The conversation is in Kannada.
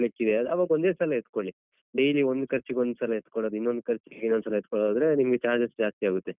ಕೊಡ್ಲಿಕ್ಕಿದೆ ಅವಾಗ ಒಂದೇ ಸಲ ಎತ್ಕೋಳಿ. ಡೈಲಿ ಒಂದ್ ಖರ್ಚಿಗೆ ಒಂದ್ ಸಲ ಎತ್ಕೊಳೋದು ಇನ್ನೊಂದ್ ಖರ್ಚಿಗೆ ಇನ್ನೊಂದ್ ಸಲ ಎತ್ಕೊಳ್ಳೋದಾದ್ರೆ ನಿಮ್ಗೆ charges ಜಾಸ್ತಿ ಆಗುತ್ತೆ.